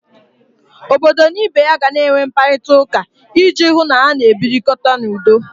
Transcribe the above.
Obodo na ibe ya gana enwe mkparịtauka iji hụ na ha na-ebirikọta n'udo.